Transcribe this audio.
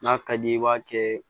N'a ka d'i ye i b'a kɛ